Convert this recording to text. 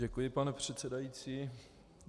Děkuji, pane předsedající.